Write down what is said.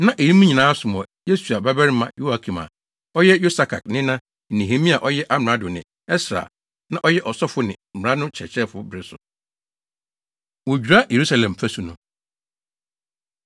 Na eyinom nyinaa som wɔ Yesua babarima Yoiakim a ɔyɛ Yosadak nena ne Nehemia a ɔyɛ amrado ne Ɛsra a na ɔyɛ ɔsɔfo ne mmara no kyerɛkyerɛfo bere so. Wodwira Yerusalem Fasu No